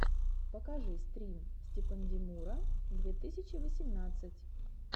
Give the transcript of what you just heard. покажи стрим степандемура две тысячи восемнадцать